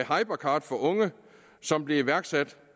hypercard for unge som blev iværksat